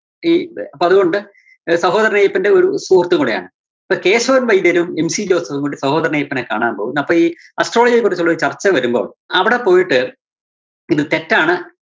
ഈ അപ്പം അതുകൊണ്ട് ആഹ് സഹോദരന്‍ അയ്യപ്പന്റെ ഒരു സുഹൃത്തും കൂടെയാണ്. അപ്പോ കേശവന്‍ വൈദ്യരും MC ജോസഫും കൂടെ സഹോദരന്‍ അയ്യപ്പനെ കാണാന്‍ പോകുന്നു. അപ്പോ ഈ astrology യെ കുറിച്ചുള്ളൊരു ചര്‍ച്ച വരുമ്പം അവിടെ പോയിട്ട് ഇത് തെറ്റാണ്